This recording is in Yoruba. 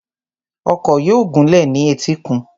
Ọkọ̀ yóò gúnlẹ̀ ní etíkun.